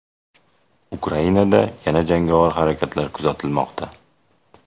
Ukrainada yana jangovar harakatlar kuzatilmoqda.